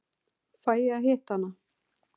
Fæ ég að hitta hana?